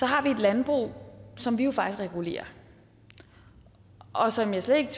har et landbrug som vi jo faktisk regulerer og som jeg slet ikke